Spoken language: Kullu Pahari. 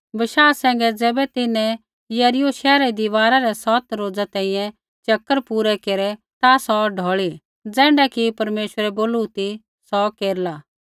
बशाह सैंघै ज़ैबै तिन्हैं यरीहो शैहरा री दीवारा रै सौत रोज़ा तैंईंयैं चकर पूरै केरै ता सौ ढौल़ी ज़ैण्ढा कि परमेश्वरै बोलू ती सौ केरला